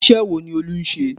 Iṣẹ́ wo ni Olú ń ṣe?